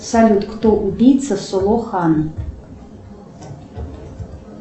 салют кто убийца соло хана